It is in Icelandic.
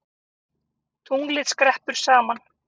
Tunglið skreppur saman